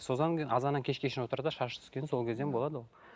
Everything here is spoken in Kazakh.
кейін азаннан кешке шейін отыр да шаш түскен сол кезден болады ол